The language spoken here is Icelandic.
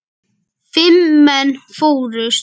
Fimm menn fórust.